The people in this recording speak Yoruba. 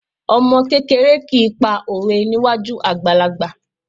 Ọmọ kékeré kì í pa òwe níwájú àgbàlagbà